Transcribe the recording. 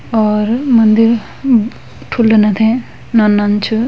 और मंदिर ठुल्ला न थे नंनं च।